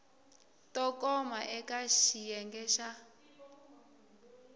to koma eka xiyenge xa